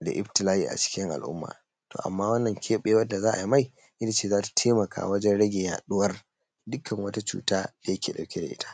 da iftila'i a cikin al'umma. To amma wannan keɓewan da za a yi, ita ce za ta taimaka wurin rage yaɗuwan dukkan wata cuta da yake ɗauke da shi.